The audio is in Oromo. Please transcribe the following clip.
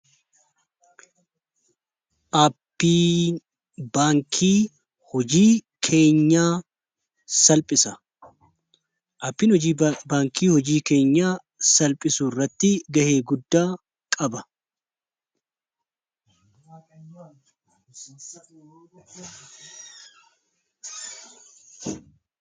Aappiin baankii hojii keenyaa salphisu irratti ga'ee guddaa qaba.